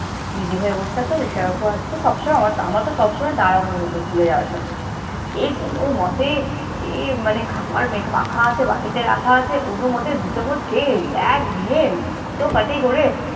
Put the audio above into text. ready হয়ে বসে থাকতাম, রিকশা কাকু আসতো। সব সময় আমারতো সব সময় তাড়াহুড়ো হতো স্কুলে যাওয়ার সময়। সেই কোনো মতে সেই মানে খাওয়ার মেখে মাখা আছে, বাটিতে রাখা আছে, কোনো মতে দু চামচ খেয়ে ব্যাগ নিয়ে হুটোপাটি করে